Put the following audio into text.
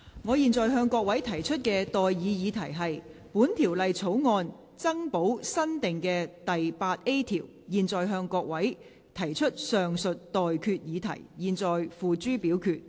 我現在向各位提出的待議議題是：本條例草案增補新訂的第 8A 條。我現在向各位提出上述待決議題，付諸表決。